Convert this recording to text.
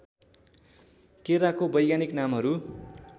केराको वैज्ञानिक नामहरू